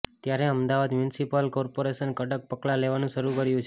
ત્યારે Ahmedabad municipal corporation કડક પગલા લેવાનું શરૂ કર્યું છે